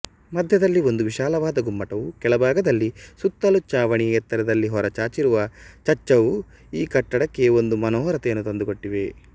ಮಧ್ಯದಲ್ಲಿ ಒಂದು ವಿಶಾಲವಾದ ಗುಮ್ಮಟವೂ ಕೆಳಭಾಗದಲ್ಲಿ ಸುತ್ತಲೂ ಚಾವಣಿಯ ಎತ್ತರದಲ್ಲಿ ಹೊರಚಾಚಿರುವ ಚಜ್ಚವೂ ಈ ಕಟ್ಟಡಕ್ಕೆ ಒಂದು ಮನೋಹರತೆಯನ್ನು ತಂದುಕೊಟ್ಟಿವೆ